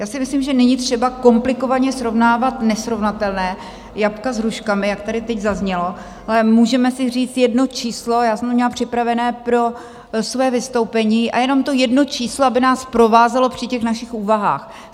Já si myslím, že není třeba komplikovaně srovnávat nesrovnatelné, jablka s hruškami, jak tady teď zaznělo, ale můžeme si říct jedno číslo, já jsem to měla připravené pro své vystoupení, a jenom to jedno číslo, aby nás provázelo při těch našich úvahách.